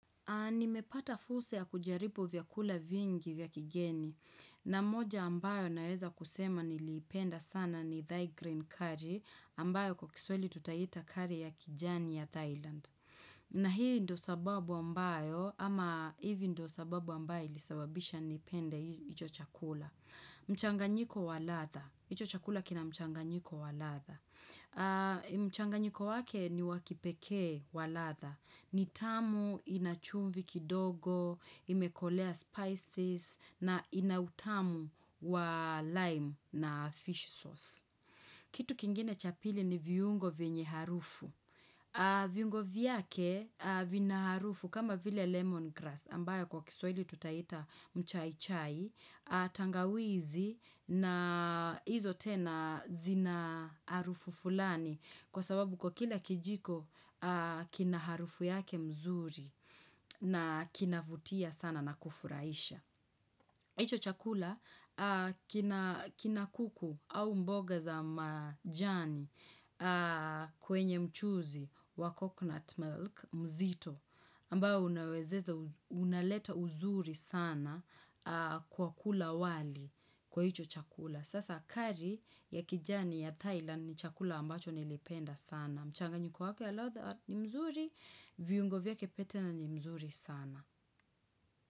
Nimepata fursa ya kujaribu vya kula vingi vya kigeni na moja ambayo naeza kusema niliipenda sana ni thy green curry ambayo kwa kiswahili tutaita curry ya kijani ya Thailand. Na hii ndo sababu ambayo ama hivi ndo sababu ambayo ilisababisha nipende hicho chakula. Mchanganyiko wa ladha. Hicho chakula kina mchanganyiko wa ladha. Mchanganyiko wake niwa kipekee wa ladha, ni tamu ina chumvi kidogo, imekolea spices na ina utamu wa lime na fish sauce. Kitu kingine cha pili ni viungo vyenye harufu viungo vyake vina harufu kama vile lemon grass ambayo kwa kisweli tutaita mchaichai tangawizi na hizo tena zina harufu fulani kwa sababu kwa kila kijiko kina harufu yake mzuri na kinavutia sana na kufurahisha hicho chakula kina kina kuku au mboga za majani kwenye mchuuzi wa coconut milk mzito ambao unawezeza, unaleta uzuri sana kwa kula wali kwa hicho chakula. Sasa curry ya kijani ya Thailand ni chakula ambacho nilipenda sana. Mchanganyiko wake wa ladha ni mzuri, viungo vyake pia tena ni mzuri sana.